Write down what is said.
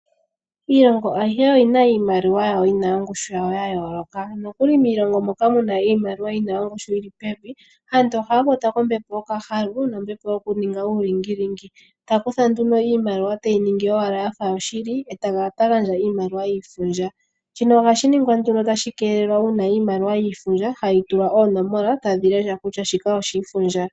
Iilongo ayihe oyina iimaliwa yawo yina ongushu yawo ya yooloka, nokuli miilongo moka muna iimalowa yina ongishi yili pevi aantu oahaya kwatwa kombepo yokahalu nombepo yokuninga uulingilingi, yakutha aantu iimalowa teyi ningi yafa yoshili eta kala tagandja iimaliwa yiifundja, shino ohashi ningwa nduno tashi keelelwa uuna iimalowa yiifubdja hayi tulwa oonomola tadhi lesha kutua shika oshiifundja.